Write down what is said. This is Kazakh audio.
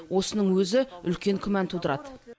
осының өзі үлкен күмән тудырады